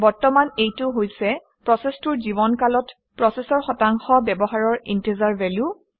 বৰ্তমান এইটো হৈছে প্ৰচেচটোৰ জীৱনকালত প্ৰচেচৰৰ শতাংশ ব্যৱহাৰৰ ইণ্টিজাৰ value